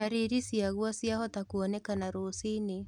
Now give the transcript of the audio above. Ndariri ciaguo ciahota kuonekana rũciinĩ